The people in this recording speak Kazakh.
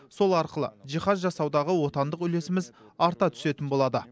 сол арқылы жиһаз жасаудағы отандық үлесіміз арта түсетін болады